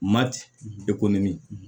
Mati ekɔli